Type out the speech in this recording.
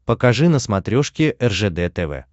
покажи на смотрешке ржд тв